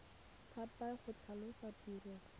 thapa le go tlhalosa tiro